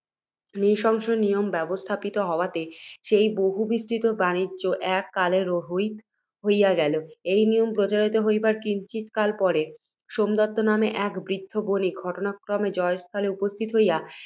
নৃশংস নিয়ম ব্যবস্থাপিত হওয়াতে, সেই বহুবিস্তৃত বাণিজ্য এক কালে রহিত হইয়া গেল। এই নিয়ম প্রচারিত হইবার কিঞ্চিৎ কাল পরে, সোমদত্ত নামে এক বৃদ্ধ বণিক, ঘটনাক্রমে জয়স্থলে উপস্থিত হইয়া,